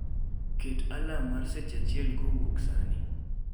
Ket alarm mar seche achiel kowuok sani